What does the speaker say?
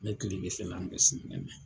N bɛ kilebi fɛlan bɛsi nemɛ.